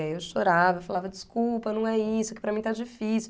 E aí eu chorava, falava, desculpa, não é isso, que para mim está difícil.